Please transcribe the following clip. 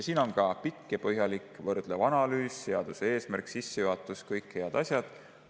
Siin on ka pikk ja põhjalik võrdlev analüüs, seaduse eesmärk, sissejuhatus, kõik head asjad.